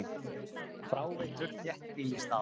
Fráveitur þéttbýlisstaða